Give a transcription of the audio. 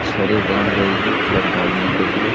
छरे बांध रही है छत ढालने के लिए --